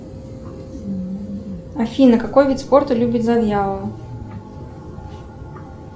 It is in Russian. афина какой вид спорта любит завьялова